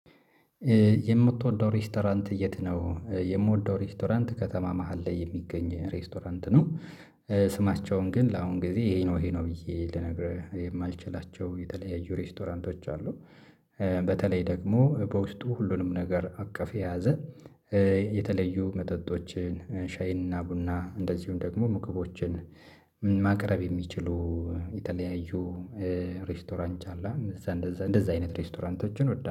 የምትወደው ሬስቶራንት የት ነው? የምወደው ሬስቶራንት ከተማ መሃል ላይ የሚገኝ ሬስቶራንት ነው። ስማቸውን ግን ለአሁን ጊዜ ይሄ ነው ይሄ ነው ብዬ ልነግርህ የማልችላቸው የተለያዩ ሬስቶራንቶች አሉ። በተለይ ደግሞ በውስጡ ሁሉንም ነገር አቀፍ የያዘ የተለዩ መጠጦችን ሻይንና ቡና እንደዚሁም ደግሞ ምግቦችን ማቅረብ የሚችሉ የተለያዩ ሬስቶራንት አለ። እንደዚያ እንደዚያ አይነት ሬስቶራንቶችን እወዳለሁ